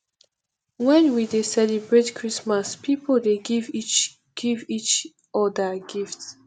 wen we dey celebrate christmas pipo dey give each give each odir gift